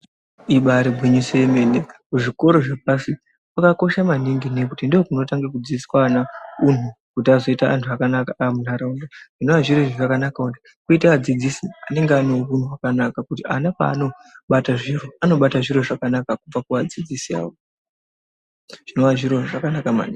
Ibari gwinyiso yemene kuzvikora zveoashi kwakakosha maningi ngekuti ndokunotanga kudzidziswa ana hunhu kuti azoita antu akanaka muntaraunda zvinova zviri zviro zvakanaka kuti kwoite adzidzisi anenga ane hunhu hwakanaka kuti ana paanobata zviro ana bata zviro zvakanaka kubva kuadzidzisi awo zvinova zviri zviro zvakanaka maningi.